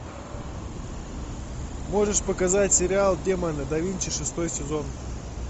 можешь показать сериал демоны да винчи шестой сезон